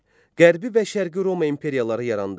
Qərbi və Şərqi Roma imperiyaları yarandı.